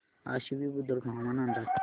आश्वी बुद्रुक हवामान अंदाज